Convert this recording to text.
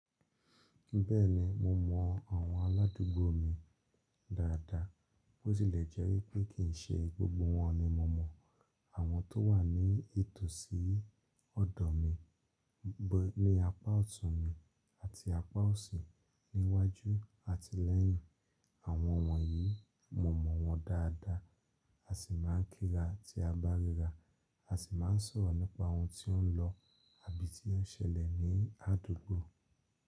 Bẹ́ẹ̀ni mo mọ àwọn aládúgbò mi dáadáa, bó tilẹ̀ jẹ́ wípé kì ń ṣe gbogbo wọ́n ni mo mọ̀. Àwọn tó wà ní ìtòsí ọ̀dọ̀ mi, ní apá ọ̀tún mi àti apá ọ̀sì, ní iwájú àti lẹ́yìn. Àwọn wọ̀nyí, mo mọ̀ wọ́n dáadáa a sì máa ń kíra tí a bá ríra, a sì máa ń sọ̀rọ̀ nípa ohun tó ń lọ àbí tí ń ṣẹlẹ̀ ní àdúgbò.